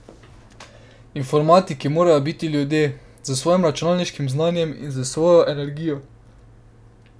Informatiki morajo biti mladi ljudje, s svojim računalniškim znanjem in z vso svojo energijo.